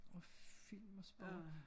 Og film og sport